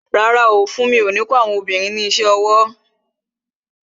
Rárá, funmi o ní kó àwọn obìnrin ní isẹ ọwọ́